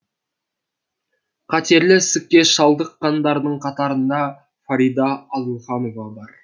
қатерлі ісікке шалдыққандардың қатарында фарида адылханова бар